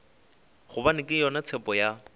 gobane ke yona tshepo ya